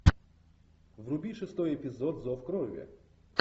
вруби шестой эпизод зов крови